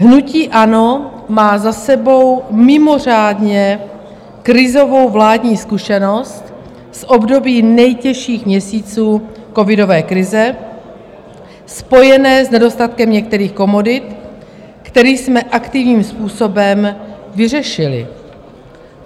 Hnutí ANO má za sebou mimořádně krizovou vládní zkušenost z období nejtěžších měsíců covidové krize, spojené s nedostatkem některých komodit, který jsme aktivním způsobem vyřešili.